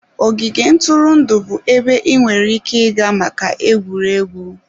Ogige ntụrụndụ bụ ebe ị nwere ike ịga maka egwuregwu.